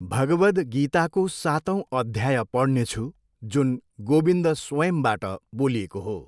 भगवद् गीताको सातौँ अध्याय पढ्नेछु, जुन गोविन्द स्वयम्बाट बोलिएको हो।